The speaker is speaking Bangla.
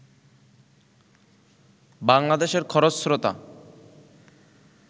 বাংলাদেশের খরস্রোতা